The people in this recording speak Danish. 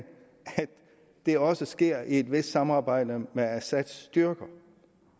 det også sker i et vist samarbejde med assads styrker